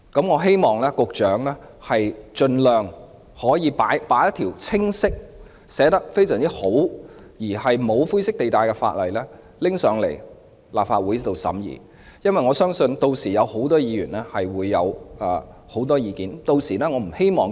我希望局長盡早向立法會量提交一條內容清晰及沒有灰色地帶的本地國歌法，相信屆時會有很多議員提出多項意見。